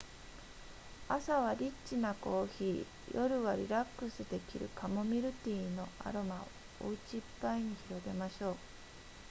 朝はリッチなコーヒー夜はリラックスできるカモミールティーのアロマをお家いっぱいに広げましょう